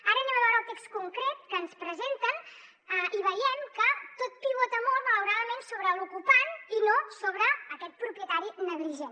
ara veurem el text concret que ens presenten i veiem que tot pivota molt malauradament sobre l’ocupant i no sobre aquest propietari negligent